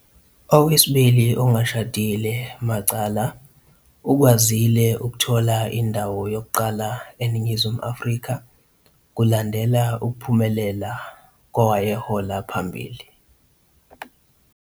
Owesibili ongashadile "Macala" ukwazile ukuthola indawo yokuqala eNingizimu Afrika, kulandela ukuphumelela kowayehola phambili.